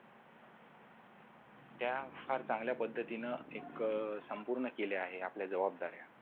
त्या फार चांगल्या पद्धतीने एक संपूर्ण केले आहे आपल्या जबाबदाऱ्या